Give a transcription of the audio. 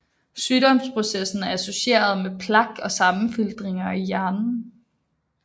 Sygdomsprocessen er associeret med plak og sammenfiltringer i hjernen